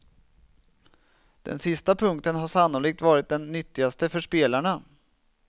Den sista punkten har sannolikt varit den nyttigaste för spelarna.